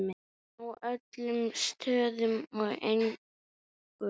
Á öllum stöðum og engum.